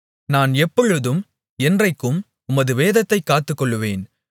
நான் எப்பொழுதும் என்றைக்கும் உமது வேதத்தைக் காத்துக்கொள்ளுவேன்